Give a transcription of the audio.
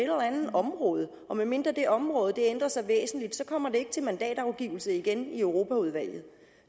område og medmindre det område ændrer sig væsentligt kommer det ikke til mandatafgivelse igen i europaudvalget